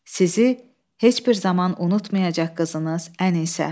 Sizi heç bir zaman unutmayacaq qızınız Ənisə.